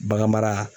Bagan mara